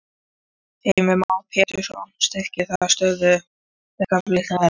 Heimir Már Pétursson: Styrkir það stöðu verkalýðshreyfingarinnar?